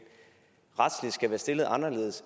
retsligt skal være stillet anderledes